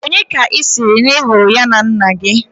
Onye ka i siri na ihuru ya na nna gi?